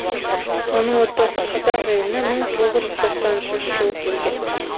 оның отбасы қазақ еліне мың тоғыз жүз тоқсан үшінші жылы келген